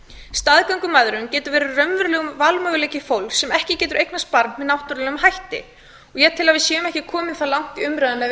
staðgöngumæðrun getur verið raunverulegur valmöguleiki fólks sem ekki getur eignast barn með náttúrulegum hætti ég tel að við séum ekki komið það langt í umræðunni að við